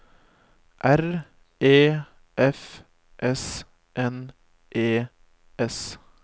R E F S N E S